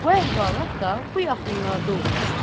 Bu əhvalat da bu yaxınlarda olmuşdu.